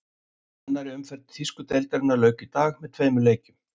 Annarri umferð þýsku deildarinnar lauk í dag með tveimur leikjum.